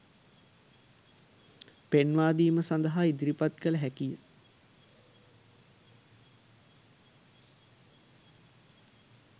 පෙන්වාදීම සඳහා ඉදිරිපත් කළ හැකිය